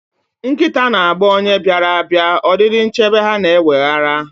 Nkịta na-agba onye bịara abịa, ọdịdị nchebe ya na-eweghara.